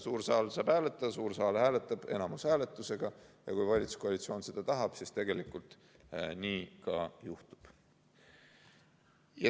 Suur saal saab hääletada, suur saal hääletab enamushääletusega ja kui valitsuskoalitsioon seda tahab, siis tegelikult nii ka juhtub.